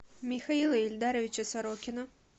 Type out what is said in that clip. михаила ильдаровича сорокина